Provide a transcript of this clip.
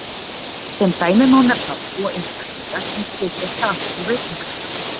Sem dæmi má nefna tvo einstaklinga sem sitja saman á veitingastað.